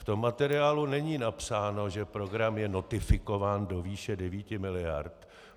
V tom materiálu není napsáno, že program je notifikován do výše 9 miliard.